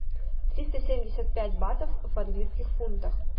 триста семьдесят пять батов в английских фунтах